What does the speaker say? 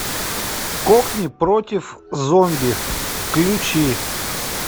кокни против зомби включи